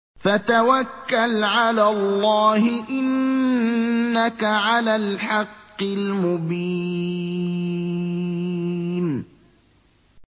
فَتَوَكَّلْ عَلَى اللَّهِ ۖ إِنَّكَ عَلَى الْحَقِّ الْمُبِينِ